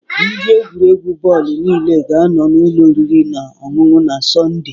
Ndị egwuregwu bọọlụ niile ga-anọ n'ụlọ oriri na ọṅụṅụ na Sọnde.